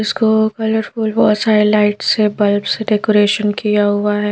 इसको कलरफुल बहोत सारे लाइट से बल्ब सेडेकोरेशन किया हुआ है।